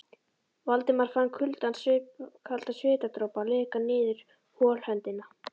Valdimar fann kaldan svitadropa leka niður holhöndina.